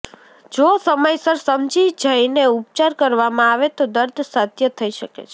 જો સમયસર સમજી જઈને ઉપચાર કરવામાં આવે તો દર્દ સાધ્ય થઈ શકે છે